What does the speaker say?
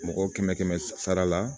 Mɔgɔ kɛmɛ kɛmɛ sara la